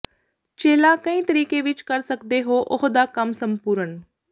ਚੇਲਾ ਕਈ ਤਰੀਕੇ ਵਿੱਚ ਕਰ ਸਕਦੇ ਹੋ ਉਹ ਦਾ ਕੰਮ ਸੰਪੂਰਣ